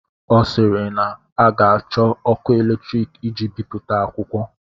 Ọ sịịrị na a ga-achọ ọkụ eletrik iji bipụta akwụkwọ.